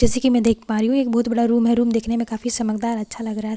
जैसे की मैं देख पा रही हूँ एक बहुत बड़ा रूम है रूम देखने में काफी समकदार अच्छा लग रहा है सफ़ेद रंग --